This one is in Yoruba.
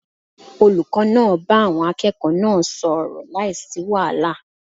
Olùkó náà bá àwon akẹ́ẹ̀kọ̀ọ́ náà sò ọ̀rọ̀ láìsí wàhálà